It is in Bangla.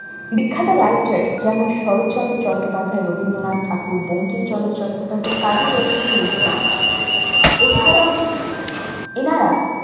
বিখ্যাত গাইকে যেমন শরৎচন্দ্র চট্টোপাধ্যায় রবীন্দ্রনাথ ঠাকুর বঙ্কিমচন্দ্র চট্টোপাধ্যায় কাজী নজরুল ইসলাম এছাড়াও ওনারা